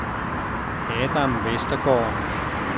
Adam Westergaard